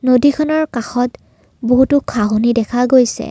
নদীখনৰ কাষত বহুতো ঘাঁহনি দেখা গৈছে।